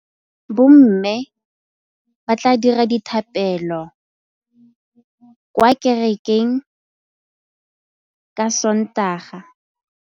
Bommê ba tla dira dithapêlô kwa kerekeng ka Sontaga.